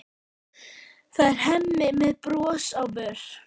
Það er Hemmi með bros á vör.